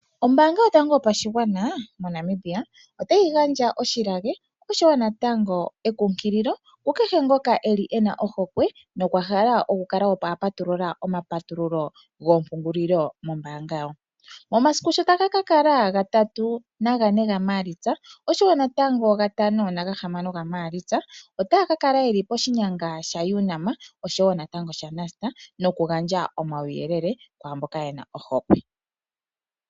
Ombaanga yotango yopashigwana moNamibia otayi gandja oshilage oshowo natango ekunkililo kukehe ngoka eli ena ohokwe nokwa hala okukala apatulula omapatululo goopungulilo mombaanga yawo. omasiku shotaga kakala ga 3-4 gaMaalitsa oshowo natango ga 5-6 gaMaalitsa otaa kakal yeli poshinyanga sha UNAM, oshowo natango sha NUST noku gandja omauyelele kwaamboka yena ohokwe.